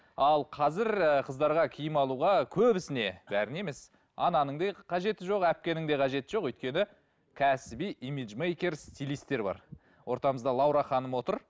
ал қазір ы қыздарға киім алуға көбісіне бәріне емес ананың да қажеті жоқ әпкенің де қажеті жоқ өйткені кәсіби имиджмейкер стилистер бар ортамызда лаура ханым отыр